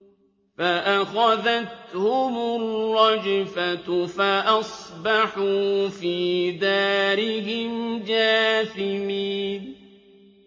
فَأَخَذَتْهُمُ الرَّجْفَةُ فَأَصْبَحُوا فِي دَارِهِمْ جَاثِمِينَ